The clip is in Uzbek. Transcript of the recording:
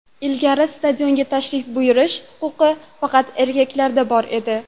Ilgari stadionga tashrif buyurish huquqi faqat erkaklarda bor edi.